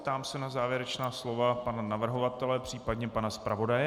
Ptám se na závěrečná slova pana navrhovatele, případně pana zpravodaje.